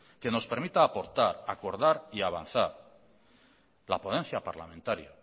que nos permita aportar acordar y avanzar la ponencia parlamentaria